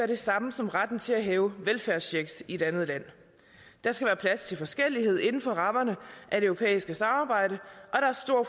det samme som retten til at hæve velfærdschecks i et andet land der skal være plads til forskellighed inden for rammerne af det europæiske samarbejde